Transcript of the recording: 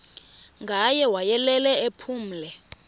ngaye wayelele ephumle